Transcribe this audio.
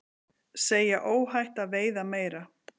Segja óhætt að veiða meira